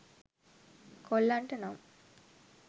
කොල්ලන්ට නම්